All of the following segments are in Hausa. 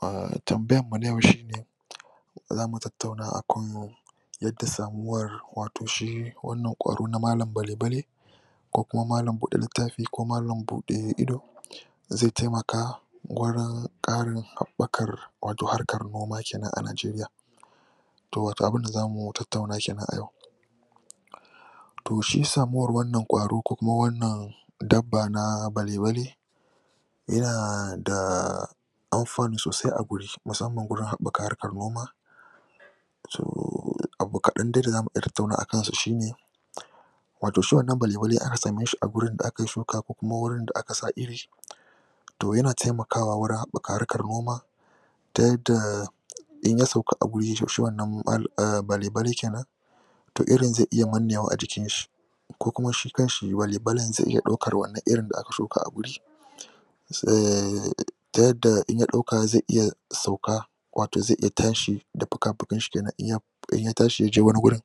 A tambayanmu na yau shine za mu tattauna akan yadda samuwar wato shi wannan ƙwaro na malam balebale, ko kuma malam buɗe littafi ko malam buɗe Ido, zai taimaka wurin karin haɓɓakar wato noma kenan a Najeriya. To wato abunda za mu tattauna kenan a yau. To sho samuwar wannan ƙwaro kuma wannan dabba na balebali, yana da amfanu sosai a guri musamman wurin haɓɓa harkar noma to abu kaɗan dai da za mu tattauna akansa shine wato shi wannan balebali ana samun shi a wurin da akayi shuka ko kuma wurin da aka sa iri, to yana taimakwa wajjen haɓɓaka harkar noma, ta yadda in ya sauka a wuri shi wannan balebali kenan to irin zaiiya nanewa a jikin shi ko kuma shi kanshi balebalin zai iya ɗaukan shi wannan irin da aka shuka a guri, ta yadda in ya ɗauka zai iya sauka, wato zai iya tashi da fukafukansa kenan in ya tashi ya je wani gurin,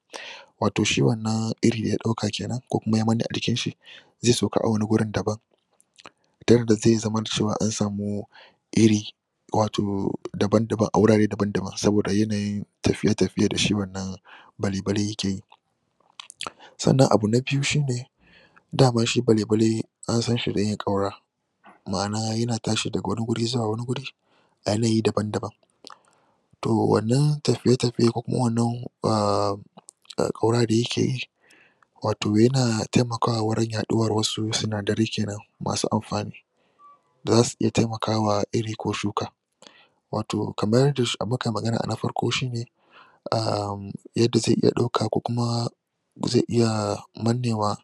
wato shi wannan iri da ya ɗauka kenan ko kuma ya manne a jikin shi sai sauka a wani gurin dabam ta yadda zai zama da cewa an samu iri, wato dabam-dabam, a wurare dabam-dabam saboda yanayin tafiye-taafiye da shi wannan balibale yake yi. Sannan abu na biyu shine da man shi balebale an san shi da yin ƙaura ma'na yana tashi daga wani wuri zuwa wani wuri a yanayi daban-daban. To wannan tafiye-tafiye, ko kuma wannan uhhm ƙaura da yake yi wato yana taimakwa wajen yaɗuwar wasu sinadarai kenan ma su amfani. da za su iya taimakawa iri ko shuka Wato kamar yadda mu kai magana a na farko, ahhm yadda zai iya ɗauka ko kuma zai iya mannewa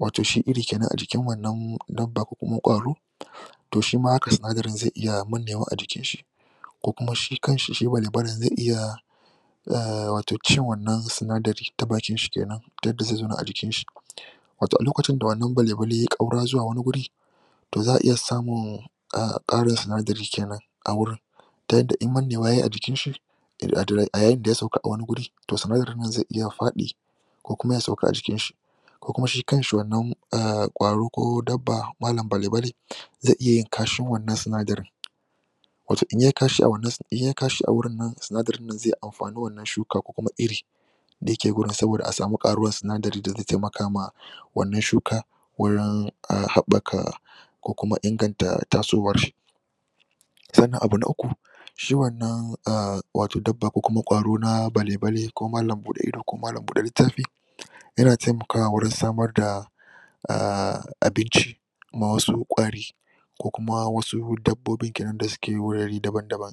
wato shi iri kenan a jikin wanna dabba ko kuma kwaro to shi ma haka sinadarin zai iya mannewa a jikinshi. Ko kuma shi kan shi shi balebalin zai iya wato cin wannan sinadari ta bakin shi kenan ta yadda zai zauna a jikin shi Wato a lokacin da wannan balebali yai ƙaura zuwa wani guri to za'a iya samun aahh ƙarin sinadari kenan a wurin ta hadda in mannewa ya yi a jkin shi a yayin da ya sauka a wani gurin to sinadarin nan zai iya faɗi ko kuima ya sauka a jikinshi. Ko kuma shi kan shi wanna ahhm ƙwaro ko dabba, malam balebale zai iya kashin wanna sinadarin. Wato in ya yi kashi a wurin nann sinadarin nan zai amfani wanna shukka ko kuma iri. da yake a gurin saboda a samu ƙaruwar sidari da zai taimaka ma wannan shuka, wurin haɓɓaka ko kuma inganta tasowar shi. Sannan abu na uku, shi shi wannan dabba ko kuma ƙwaro na balebale ko malam buɗe ido ko malam buɗe littafi, yana taimakawa wurin samar da ahh abinci ma wasu ƙwari ko kuma wasu dabbobi kenan da suke wurare dabam-dabam.